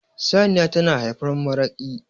saniya tana haifar maraki